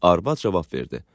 Arvad cavab verdi.